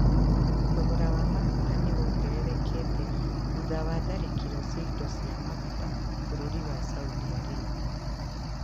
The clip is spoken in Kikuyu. Thogora wa maguta nĩ wongererekete thutha wa tharĩkĩro cia indo cia maguta bũrũri wa Saudi Arabia.